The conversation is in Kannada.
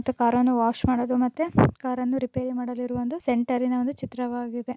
ಮತ್ತು ಕಾರ ನ್ನು ವಾಶ್ ಮಾಡಲು ಮತ್ತೆ ಕಾರ ನ್ನು ರಿಪೇರಿ ಮಾಡಲಿರುವ ಒಂದು ಸೆಂಟರಿನ ಒಂದು ಚಿತ್ರವಾಗಿದೆ.